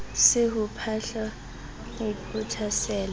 se ho phahlwa ho phothasela